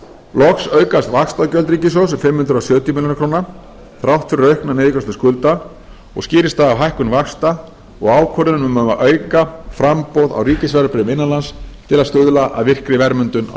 loks aukast vaxtagjöld ríkissjóðs um fimm hundruð sjötíu milljónum króna þrátt fyrir aukna niðurgreiðslu skulda og skýrist það af hækkun vaxta og ákvörðunar um að auka framboð á ríkisverðbréfum innan lands til að stuðla að virkri verðmyndun á